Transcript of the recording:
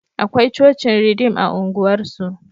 Akwai cocin Ridim a unguwar su